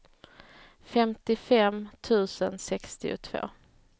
femtiofem tusen sextiotvå